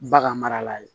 Bagan marala ye